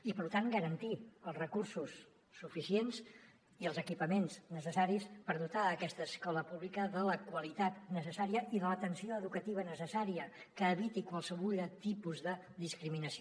i per tant garantir els recursos suficients i els equipaments necessaris per dotar aquesta escola pública de la qualitat necessària i de l’atenció educativa necessària que eviti qualsevol tipus de discriminació